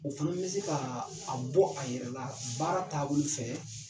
O fɛnɛ be se ka a bɔ a yɛrɛ la baara taabolo fɛ